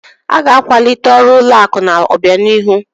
A ga-akwalite ọrụ ụlọ akụ n'obianihu.